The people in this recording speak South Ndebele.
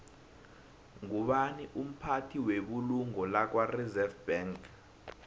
ngubani umphathi webulungo lakwareserve bank